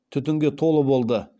түтінге толы болды